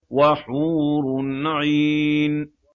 وَحُورٌ عِينٌ